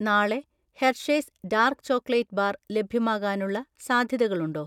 നാളെ Hershey's dark chocolate bar ലഭ്യമാകാനുള്ള സാധ്യതകളുണ്ടോ?